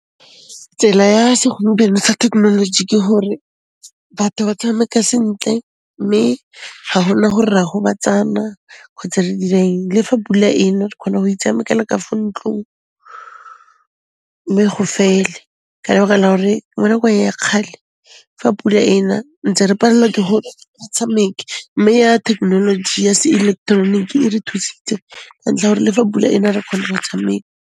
Tsela ya segompieno sa thekenoloji ke hore batho ba tshameka sentle, mme ga gona gore re a gobatsana kgotsa re dira eng. Le fa pula e na, re khona ho itshamekela ka fo ntlong, mme go fele. Ke nagana gore le mo nakong ya kgale ga pula e na, ntse re palelwa ke go tshameka, mme ya thekenoloji ya se ileketeroniki e re thusitse ka ntlha ya 'ore le fa pula ena re kgona go tshameka.